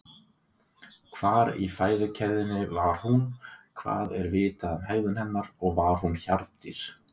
Hvar í fæðukeðjunni var hún, hvað er vitað um hegðun hennar og var hún hjarðdýr?